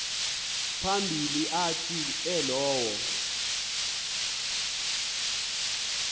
phambili athi elowo